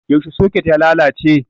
Yaushe soket ya lalace?